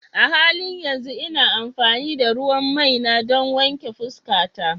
A halin yanzu ina amfani da ruwan maina don wanke fuskata.